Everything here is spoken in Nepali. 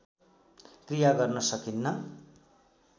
क्रिया गर्न सकिन्न